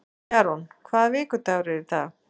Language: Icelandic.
Jarún, hvaða vikudagur er í dag?